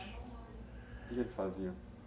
O que que eles faziam?